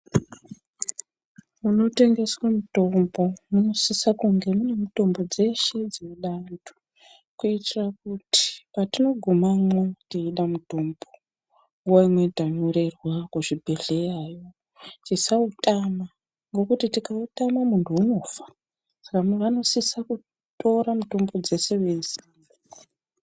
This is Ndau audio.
Munotengeswa mitombo munosisa kunge mune mitombo dzeshe dzinoda vantu kuitira kuti patinogumamwo teida mutombo nguva imweni tanyorerwa kuzvibhedhleyayo tisautama ngekuti tikautama muntu unofa saka vanosisa kutora mutombo dzese veisamo.